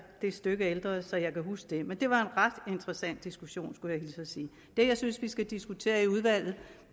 det stykke ældre så jeg kan huske det men det var en ret interessant diskussion skulle jeg hilse og sige det jeg synes vi skal diskutere i udvalget